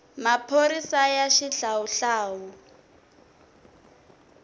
maphorisaya xihlawuhlawu